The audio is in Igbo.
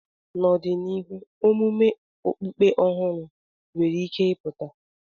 N'ọdịnihu, omume okpukpe ọhụrụ nwere ike ịpụta.